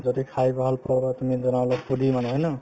যদি খাই ভাল পোৱা বা তুমি food মানে হয় ন